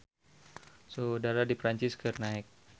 Suhu udara di Perancis keur naek